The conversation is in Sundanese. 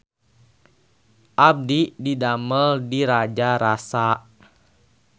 Abdi didamel di Raja Rasa